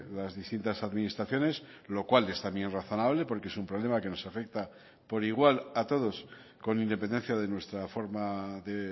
las distintas administraciones lo cual es también razonable porque es un problema que nos afecta por igual a todos con independencia de nuestra forma de